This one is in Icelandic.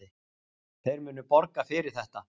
Þeir munu borga fyrir þetta.